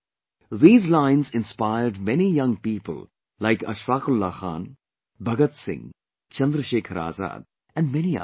These lines inspired many young people like Ashfaq Ullah Khan, Bhagat Singh, Chandrashekhar Azad and many others